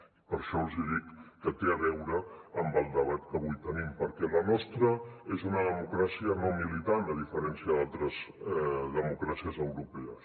i per això els hi dic que té a veure amb el debat que avui tenim perquè la nostra és una democràcia no militant a diferència d’altres democràcies europees